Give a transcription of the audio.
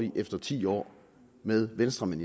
i efter ti år med venstrefolk